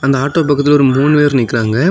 அந்த ஆட்டோ பக்கத்துல ஒரு மூணு பேரு நிக்கிறாங்க.